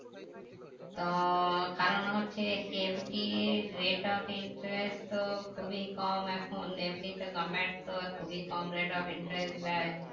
তো কারণ হচ্ছে FD এর rate of interest তো খুবই কম এখন FD তে government তো খুবই কম rate of interest দেয়